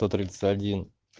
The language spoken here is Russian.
сто тридцать один